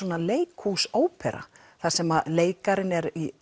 leikhús ópera þar sem leikarinn er í